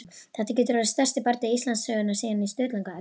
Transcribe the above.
Þetta getur orðið stærsti bardagi Íslandssögunnar síðan á Sturlungaöld!